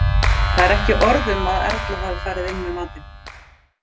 Þar er ekki orð um að Erla hafi farið inn með matinn.